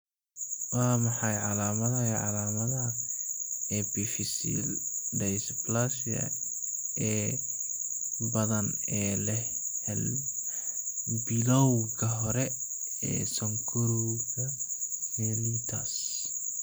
Waa maxay calaamadaha iyo calaamadaha Epiphyseal dysplasia ee badan ee leh bilawga hore ee sonkorowga mellitus?